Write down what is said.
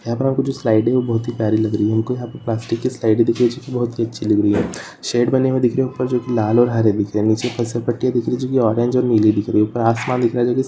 यहां पर जो स्लाइड है बहुत ही प्यारी लग रही है हमको यहां पे प्लास्टिक की स्लाइड दिख रही है जो की बहुत ही अच्छी दिख रही है शेड बने हुए दिख रहे है जो लाल और हरे बने दिख रहे है निचे फिसलन पट्टी दिख रही है जो की ऑरेंज और नीली दिख रही है ऊपर आसमान दिख रहा है जो की --